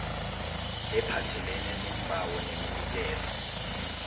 ephathelene neembawo neminikelo